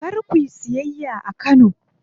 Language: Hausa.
Kar kuyi siyayya a Kano.